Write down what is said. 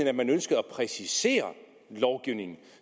at man ønskede at præcisere lovgivningen